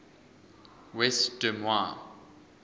west des moines